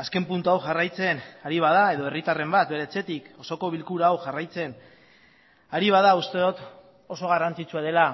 azken puntua hau jarraitzen ari bada edo herritarren bat bere etxetik osoko bilkura hau jarraitzen ari bada uste dut oso garrantzitsua dela